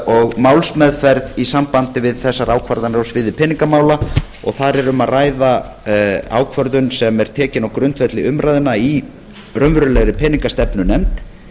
og málsmeðferð í sambandi við þessar ákvarðanir á sviði peningamála og þar er um að ræða ákvörðun sem er tekin á grundvelli umræðna í raunverulegri peningastefnunefnd